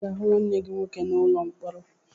Ị ga-aga hụ nwanne gị nwoke n'ụlọ mkpọrọ!